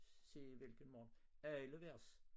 Se hvilken morgen alle vers